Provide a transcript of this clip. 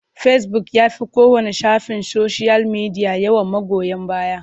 Fecibuk ya fi kowanne shafin soshiyal media yawan magoya baya.